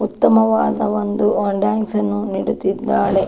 ಉತ್ತಮವಾದ ಒಂದು ಆ ಡಾನ್ಸ್ ನ್ನು ನೀಡುತ್ತಿದ್ದಾಳೆ.